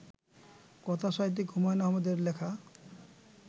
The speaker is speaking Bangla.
কথা সাহিত্যিক হুমায়ূন আহমেদের লেখা